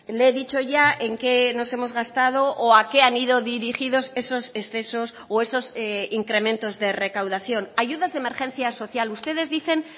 le he dicho ya en qué nos hemos gastado o a qué han ido dirigidos esos excesos o esos incrementos de recaudación ayudas de emergencia social ustedes dicen